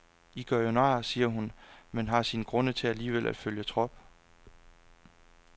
I gør jo nar, siger hun, men har sine grunde til alligevel at følge trop.